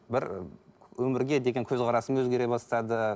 бір өмірге деген көзқарасым өзгере бастады